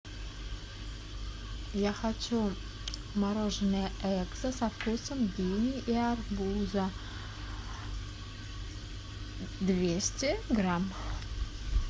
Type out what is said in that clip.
я хочу мороженое экзо со вкусом дыни и арбуза двести грамм